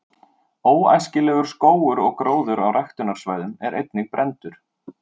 „óæskilegur“ skógur og gróður á ræktunarsvæðum er einnig brenndur